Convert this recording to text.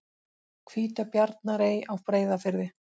Hvítabjarnarey á Breiðafirði.